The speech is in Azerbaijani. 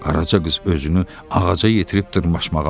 Qaraca qız özünü ağaca yetirib dırmaşmağa başladı.